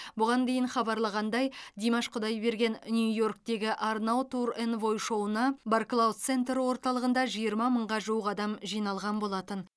бұған дейін хабарлағандай димаш құдайберген нью йорктегі арнау тур энвой шоуына барклаус центр орталығында жиырма мыңға жуық адам жиналған болатын